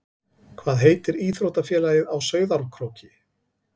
Hvað heitir íþróttafélagið á Sauðárkróki?